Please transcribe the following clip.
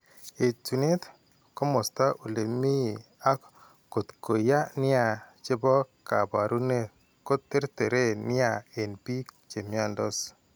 Etunet, komosta ole mi ak kotko yaa nia che po kaabarunet ko terteren nia eng' biik che mnyandos.